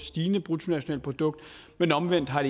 stigende bruttonationalprodukt men omvendt har